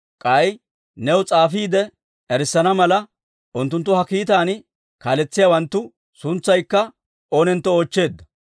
K'ay new s'aafiide erissana mala, unttuntta ha kiitaan kaaletsiyaawanttu suntsaykka oonentto oochcheeddo.